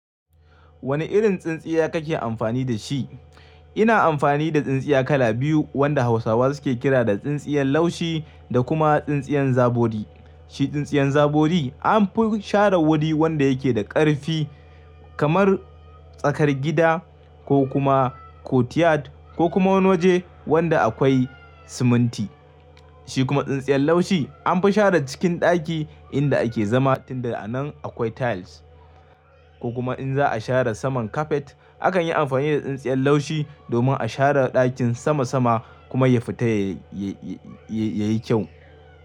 Wane irin tsintsiya kake amfani da shi? Ina amfani da tsintsiya kala biyu wanda Hausawa suke kira da tsintsiyar laushi da kuma tsintsiyan zabori. Shi tsintsiyan zabodi an fi sharar wuri wanda yake da ƙarfi kamar tsakar gida ko kuma courtyard ko kuma wani waje wanda akwai siminti. Shi kuma tsintsiyar laushi an fi share cikin ɗaki inda ake zama tunda a nan akwai tiles. Ko kuma in za a share saman kapet akan yi amfani da tsintsiyar laushi domin a share ɗakin sama sama kuma ya fita yayi kyau.